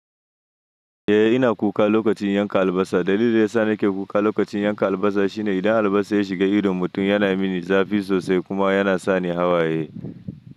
Eh ina kuka lokacin yanka albasa. Dalilin da ya sa nake kuka lokacin yanka albasa shine idan albasa ya shiga idon mutum yana mini zafi sosai kuma yana sa ni hawaye.